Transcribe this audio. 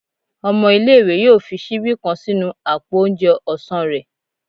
ọmọ ìlé-ìwé yọọ fi síbí kán sínú apó oúnjẹ ọsán rẹ